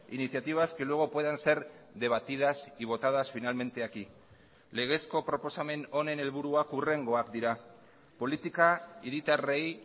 iniciativas que luego puedan ser debatidas y votadas finalmente aquí legezko proposamen honen helburuak hurrengoak dira politika hiritarrei